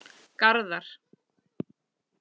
Garðar